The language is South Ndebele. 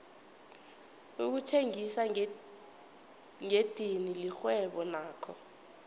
ukuthengisa ngedidini lirhwebo nakho